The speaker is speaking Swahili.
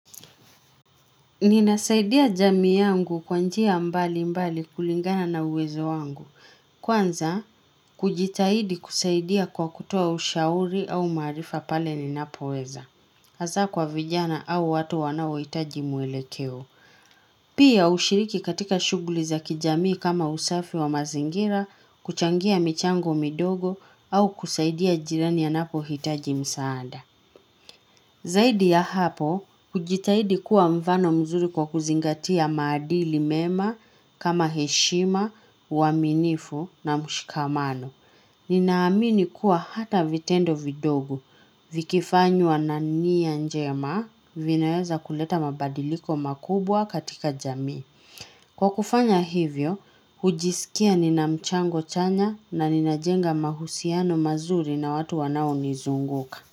Ninasaidia jamii yangu kwa njia mbali mbali kulingana na uwezo wangu. Kwanza, kujitahidi kusaidia kwa kutoa ushauri au maarifa pale ninapoweza. Hasa kwa vijana au watu wanaohitaji mwelekeo. Pia hushiriki katika shughuli za kijamii kama usafi wa mazingira, kuchangia michango midogo au kusaidia jirani anapohitaji msaada. Zaidi ya hapo, hujitahidi kuwa mfano mzuri kwa kuzingatia maadili mema, kama heshima, uaminifu na mshikamano. Ninaamini kuwa hata vitendo vidogo, vikifanywa na nia njema, vinaweza kuleta mabadiliko makubwa katika jamii. Kwa kufanya hivyo, hujisikia nina mchango chanya na ninajenga mahusiano mazuri na watu wanaonizunguka.